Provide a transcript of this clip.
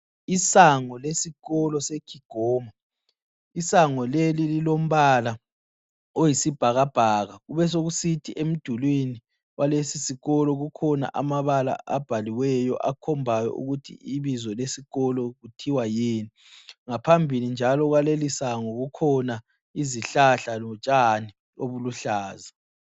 Isango lesikolo seKigoma. Isango leli lilombala oyisibhakabhaka kubesokusithi emdulwini kwalesisikolo kukhona amabala abhaliweyo akhombayo ukuthi ibizo lesikolo kuthiwa yini ,ngaphambili kwalelisango njalo kukhona izihlahla lotshani obuluhlaza.